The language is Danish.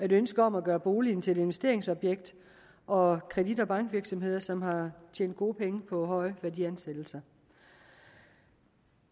et ønske om at gøre boligen til et investeringsobjekt og kredit og bankvirksomheder som har tjent gode penge på høje værdiansættelser